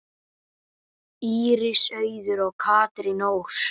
Íris Auður og Katrín Ósk.